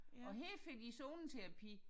Og her får de zoneterapi